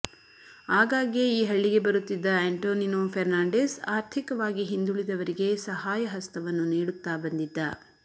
ಆಗಾಗ್ಗೆ ಈ ಹಳ್ಳಿಗೆ ಬರುತ್ತಿದ್ದ ಅಂಟೋನಿನೊ ಫೆರ್ನಾಂಡಿಸ್ ಆರ್ಥಿಕವಾಗಿ ಹಿಂದುಳಿದವರಿಗೆ ಸಹಾಯಹಸ್ತವನ್ನು ನೀಡುತ್ತಾ ಬಂದಿದ್ದ